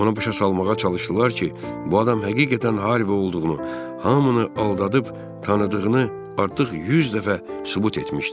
Ona başa salmağa çalışdılar ki, bu adam həqiqətən Harvi olduğunu, hamını aldadıb tanıdığını artıq 100 dəfə sübut etmişdi.